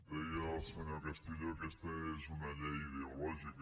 deia el senyor castillo aquesta és una llei ideològica